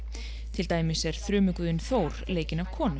til dæmis er þrumuguðinn Þór leikinn af konu